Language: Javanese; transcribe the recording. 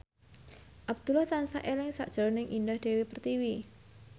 Abdullah tansah eling sakjroning Indah Dewi Pertiwi